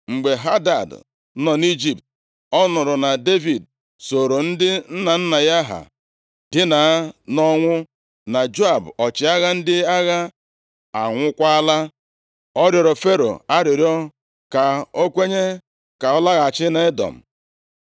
Mgbe Hadad nọ nʼIjipt, ọ nụrụ na Devid sooro ndị nna nna ya ha dina nʼọnwụ na Joab ọchịagha ndị agha anwụọkwala, ọ rịọrọ Fero arịrịọ ka o kwenye ka ọ laghachi nʼEdọm.